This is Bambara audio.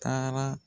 Taara